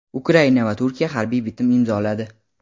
Ukraina va Turkiya harbiy bitim imzoladi.